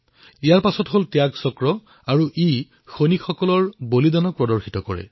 ইয়াৰ পিছত ত্যাগ চক্ৰই সৈনিকসকলৰ বলিদানক প্ৰদৰ্শিত কৰিছে